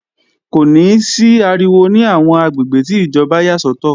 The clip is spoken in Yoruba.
Kò ní sí ariwo ní àwọn àgbègbè tí ìjọba yà sọ́tọ̀